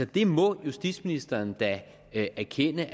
det må justitsministeren da erkende